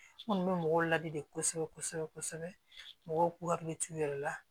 N kɔni bɛ mɔgɔw ladi kosɛbɛ kosɛbɛ kosɛbɛ mɔgɔw k'u hakili t'u yɛrɛ la